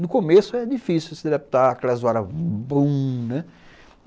No começo é difícil se adaptar àquela zoada. (Boom), né?